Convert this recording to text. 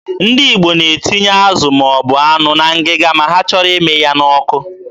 Ndị Igbo na-etinye azụ ma ọ bụ anụ na ngịga ma ha chọrọ ịmị ya n'ọkụ.